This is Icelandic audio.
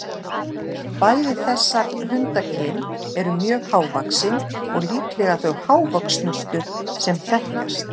Bæði þessar hundakyn eru mjög hávaxin og líklega þau hávöxnustu sem þekkjast.